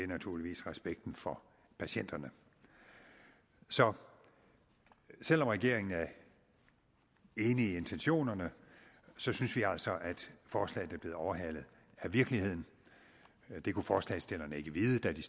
naturligvis respekten for patienterne så selv om regeringen er enig i intentionerne synes vi altså at forslaget er blevet overhalet af virkeligheden det kunne forslagsstillerne ikke vide da de